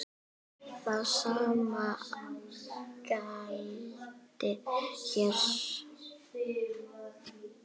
Það sama gildir hér.